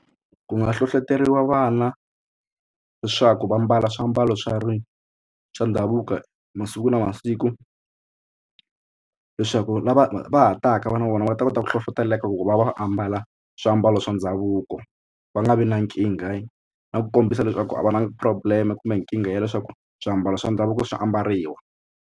Ku nga hlohloteriwa vana leswaku va mbala swiambalo swa ri swa ndhavuko masiku na masiku leswaku lava va ha taka vana na vona va ta kota ku hlohloteleka ku va va va ambala swiambalo swa ndhavuko va nga vi na nkingha na ku kombisa leswaku a va na problem kumbe nkingha ya leswaku swiambalo swa ndhavuko swa ambariwa.